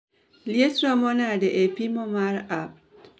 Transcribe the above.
Liet romo nade e pimo mar apt